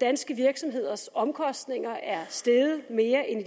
danske virksomheders omkostninger er steget mere end